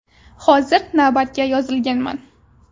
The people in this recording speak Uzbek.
Hozir navbatga yozilganman.